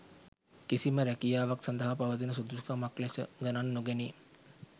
කිසිම රැකියාවක් සඳහා පවතින සුදුසුකමක් ලෙස ගණන් නොගැනේ.